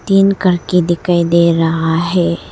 तीन करके दिखाई दे रहा है।